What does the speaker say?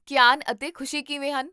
ਕੀਆਨ ਅਤੇ ਖੁਸ਼ੀ ਕਿਵੇਂ ਹਨ?